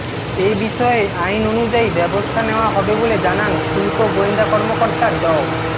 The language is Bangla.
এ বিষয়ে আইন অনুযায়ী ব্যবস্থা নেওয়া হবে বলে জানান শুল্ক গোয়েন্দা কর্মকর্তা ড